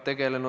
Aitäh!